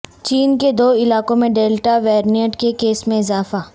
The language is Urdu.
چین کے دو علاقوں میں ڈیلٹا ویرینٹ کے کیسز میں اضافہ